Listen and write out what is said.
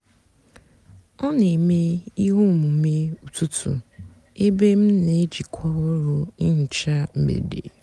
ọ nà-èmè íhè ómumé ụtụtụ ébé m nà-èjìkwá ọrụ nhicha mgbede.